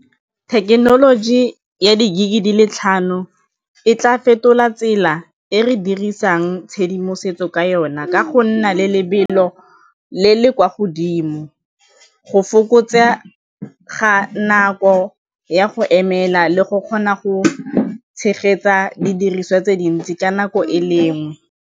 Thekenoloji ya di-gig-e di le tlhano e tla fetola tsela e re dirisang tshedimosetso ka yona ka go nna le lebelo le le kwa go godimo go fokotsa ga nako ya go emela le go kgona go tshegetsa didiriswa tse dintsi ka nako e lengwe.